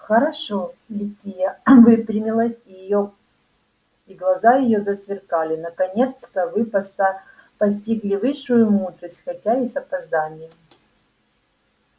хорошо ликия выпрямилась и глаза её засверкали наконец-то вы постигли высшую мудрость хотя и с опозданием